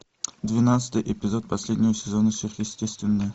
двенадцатый эпизод последнего сезона сверхъестественное